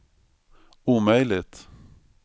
omöjligt